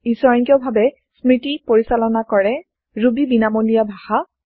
ই স্বয়ংক্ৰিয় ভাৱে স্মৃতি পৰিচালনা কৰে ৰুবী বিনামূলীয়া ভাষা